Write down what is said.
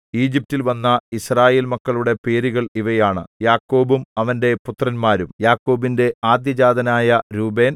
ഈജിപ്റ്റിൽ വന്ന യിസ്രായേൽ മക്കളുടെ പേരുകൾ ഇവയാണ് യാക്കോബും അവന്റെ പുത്രന്മാരും യാക്കോബിന്റെ ആദ്യജാതനായ രൂബേൻ